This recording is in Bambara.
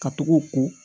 Ka tugu o ko